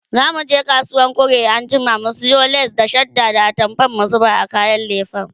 zamuje kasuwan kwari anjima mu sayo lace da shadda da atamfa mu zuba a kayan lefen